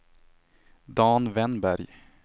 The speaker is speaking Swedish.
Dan Wennberg